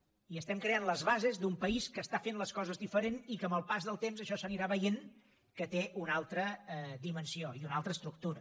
i estem creant les bases d’un país que està fent les coses diferent i que amb el pas del temps això s’anirà veient que té una altra dimensió i una altra estructura